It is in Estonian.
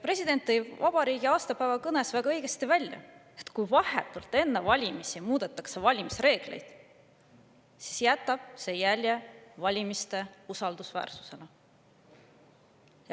President tõi vabariigi aastapäeva kõnes väga õigesti välja, et kui vahetult enne valimisi muudetakse valimisreegleid, siis jätab see jälje valimiste usaldusväärsusele.